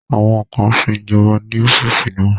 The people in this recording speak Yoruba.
Àwọn kan sin ìjọba ní ọ́fíìsì náà